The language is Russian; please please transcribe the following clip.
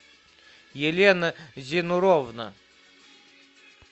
елена зинуровна